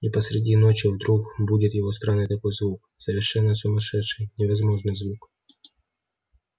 и посреди ночи вдруг будит его странный такой звук совершенно сумасшедший невозможный звук